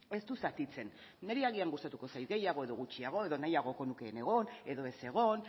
ez du zatitzen niri agian gustatuko zait gehiago edo gutxiago edo nahiagoko nuke egon edo ez egon